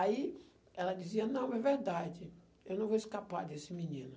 Aí, ela dizia, não, é verdade, eu não vou escapar desse menino.